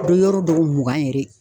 Be yɔrɔ dɔw mugan yɛrɛ